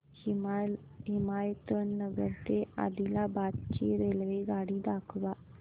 हिमायतनगर ते आदिलाबाद ची रेल्वेगाडी दाखवा